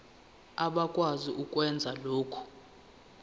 abakwazi ukwenza lokhu